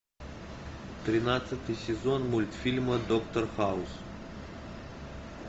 тринадцатый сезон мультфильма доктор хаус